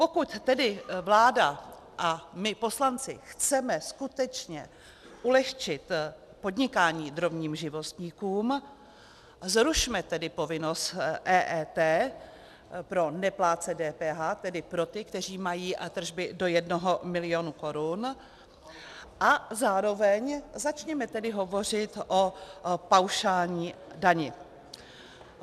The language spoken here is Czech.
Pokud tedy vláda a my poslanci chceme skutečně ulehčit podnikání drobným živnostníkům, zrušme tedy povinnost EET pro neplátce DPH, tedy pro ty, kteří mají tržby do jednoho milionu korun, a zároveň začněme tedy hovořit o paušální dani.